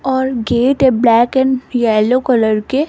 और गेट है black and yellow colour के --